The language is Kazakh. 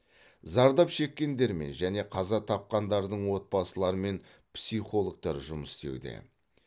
зардап шеккендермен және қаза тапқандардың отбасыларымен психологтар жұмыс істеуде